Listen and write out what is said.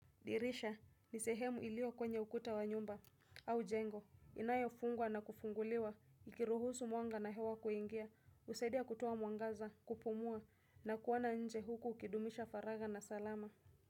Dirisha, nisehemu ilio kwenye ukuta wa nyumba, au jengo, inayo fungwa na kufunguliwa, ikiruhusu mwanga na hewa kuingia, usaidia kutoa mwangaza, kupumua, na kuona nje huku kidumisha faraga na salama.